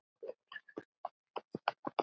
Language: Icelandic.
Þín Regína.